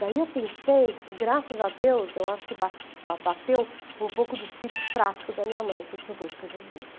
Daí eu pensei, graças a Deus, eu acho que ba ba ba bateu um pouco do espírito prático da minha mãe, que eu disse, eu vou escrever um livro.